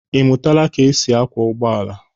Ị mụtaala ka e si akwọ ụgbọala?